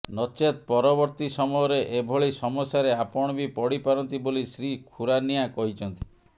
ନଚେତ ପରବର୍ତୀ ସମୟରେ ଏଭଳି ସମସ୍ୟାରେ ଆପଣ ବି ପଡ଼ି ପାରନ୍ତି ବୋଲି ଶ୍ରୀ ଖୁରାନିଆ କହିଛନ୍ତି